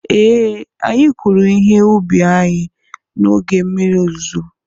ee, anyị kụrụ ihe ubi anyị n'oge mmiri ozuzo